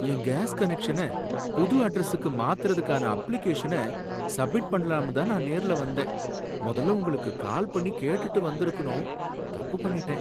என் gas கனெக்ஷன புது அட்ரஸுக்கு மாத்துறதுக்கான அப்ளிகேஷன சப்மிட் பண்ணலாம்னுதான் நான் நேர்ல வந்தேன், முதல்ல உங்களுக்கு கால் பண்ணி கேட்டுட்டு வந்திருக்கணும், தப்பு பண்ணிட்டேன்.